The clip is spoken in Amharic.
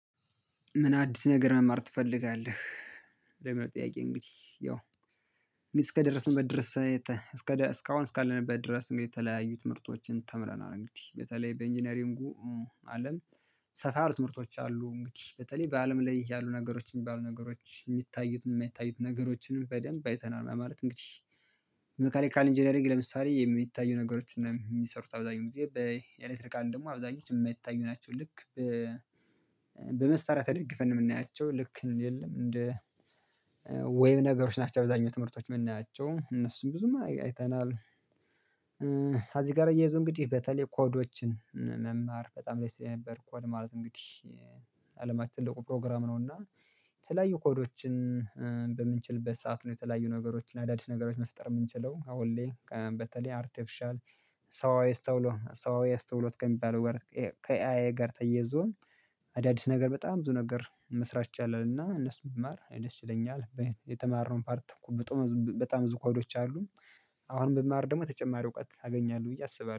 ምን አዲስ ነገር መማር ትፈልጋለህ? ለምን ጥያቄ እንግዲህ ያው እስከ ደረሰንበት ድረስ? እስካሁን እስካለንበት ድረስ እንግዲህ የተለያዩ ትምህርቶችን ተምረናል እንግዲህ በተለይ በኢንጂነሪንጉ አለም። ሰፋ አሉ ትምህርቶች አሉ እንግዲህ በተለይ በአለም ላይ ያሉ ነገሮች የሚባሉ ነገሮች የሚታዩት የማይታዩት ነገሮችንም በደንብ አይተናል ማለት እንግዲህ። መካኒካል ኢንጂነሪንግ ለምሳሌ የሚታዩ ነገሮችን የሚሰሩት አብዛኛው ጊዜ በኤሌክትሪካል ደግሞ አብዛኞች የማይታዩ ናቸው። ልክ በመስራያ ተደግፈን የምናያቸው ልክ የለም እንደ ዌብ ነገሮች ናቸው። አብዛኛው ትምህርቶች የምናያቸው እነሱም ብዙም አይተናል። አዚ ጋር እየያይዘው እንግዲህ በተለይ ኮዶችን መማር በጣም ላይ ስትል የነበር ኮድ ማለት እንግዲህ በአለማች ትልቁ ፕሮግራም ነው። እና የተለያዩ ኮዶችን በምንችልበት ሰዓት ነው የተለያዩ ነገሮችን አዳዲስ ነገሮችን መፍጠር የምንችለው አሁን ሌላ በተለይ አርቴፕሻል ሰው አይስተውሎ ሰው አይስተውሎት ከሚባለው ጋር ከኤአይ ጋር ተየዞን አዳዲስ ነገር በጣም ብዙ ነገር መስራት ይቻላል። እና እነሱን ብማር ደስ ይለኛል የተማረውን ፓርት ብጡ በጣም ብዙ ኮዶች አሉ። አሁን ብማር ደግሞ ተጨማሪ እውቀት አገኛለሁ ብዬ አስባለሁ